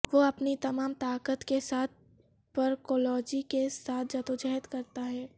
وہ اپنی تمام طاقت کے ساتھ پرکولوجی کے ساتھ جدوجہد کرتا ہے